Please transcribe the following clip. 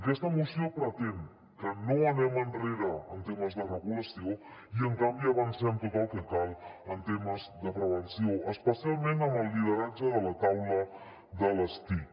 aquesta moció pretén que no anem enrere en temes de regulació i en canvi avancem tot el que cal en temes de prevenció especialment amb el lideratge de la taula de les tic